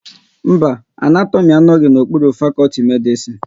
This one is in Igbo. Mba, Anatomi anoghi n'okpuru fakọlti Medisin